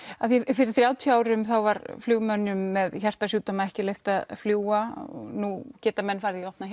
fyrir þrjátíu árum var flugmönnum með hjartasjúkdóma ekki leyft að fljúga nú geta menn farið í opnar